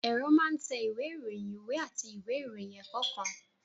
Ẹ̀rọ máa ń tẹ ìwé ìròyìn, ìwé àti ìwé ìròyìn ẹ̀kọ́ kan